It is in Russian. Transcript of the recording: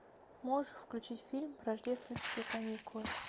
можешь включить фильм рождественские каникулы